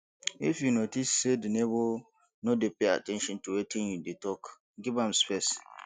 if you notice sey di neighbour no dey pay at ten tion to wetin you dey talk give am space